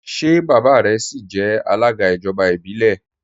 Ṣé baba rẹ síí jẹ alága ijọba ibilẹ?